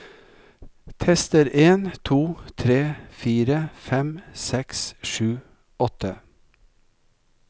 Tester en to tre fire fem seks sju åtte